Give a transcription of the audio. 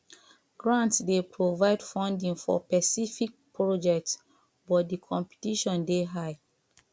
grants dey provide funding for specific projects but di competition dey high